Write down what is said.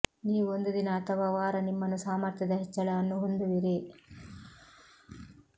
ನೀವು ಒಂದು ದಿನ ಅಥವಾ ವಾರ ನಿಮ್ಮನ್ನು ಸಾಮರ್ಥ್ಯದ ಹೆಚ್ಚಳವನ್ನು ಹೊಂದುವಿರಿ